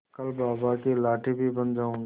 कल बाबा की लाठी भी बन जाऊंगी